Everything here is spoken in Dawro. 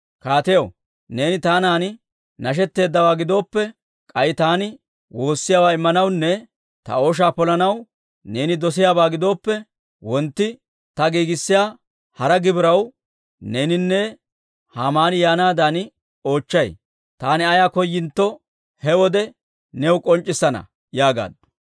«Kaatiyaw, neeni taanan nashetteeddawaa gidooppe, k'ay taani woossiyaawaa immanawunne ta ooshaa polanaw neeni dosiyaabaa gidooppe, wontti ta giigissiyaa hara gibiraw neeninne Haamaani yaanaadan oochchay. Taani ayaa koyintto, he wode new k'onc'c'issana» yaagaaddu.